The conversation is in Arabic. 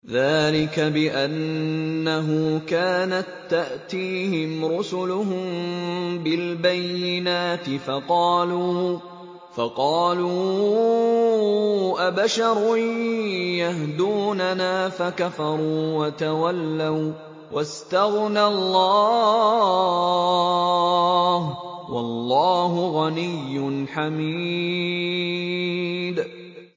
ذَٰلِكَ بِأَنَّهُ كَانَت تَّأْتِيهِمْ رُسُلُهُم بِالْبَيِّنَاتِ فَقَالُوا أَبَشَرٌ يَهْدُونَنَا فَكَفَرُوا وَتَوَلَّوا ۚ وَّاسْتَغْنَى اللَّهُ ۚ وَاللَّهُ غَنِيٌّ حَمِيدٌ